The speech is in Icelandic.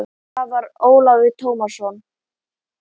Það var Ólafur Tómasson.